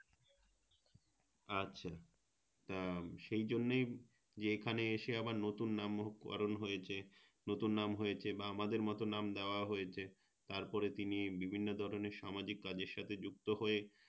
আচ্ছা সেই জন্যই যে এখানে এসে আবার নতুন নামকরণ হয়েছে নতুন নাম হয়েছে বা আমাদের মতো নাম দেওয়া হয়েছে তারপরে তিনি বিভিন্ন ধরণের সামাজিক কাজের সাথে যুক্ত হয়ে